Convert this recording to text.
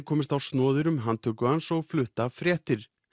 komist á snoðir um handtöku hans og flutt af fréttir